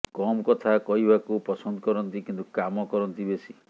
କମ୍ କଥା କହିବାକୁ ପସନ୍ଦ କରନ୍ତି କିନ୍ତୁ କାମ କରନ୍ତି ବେଶି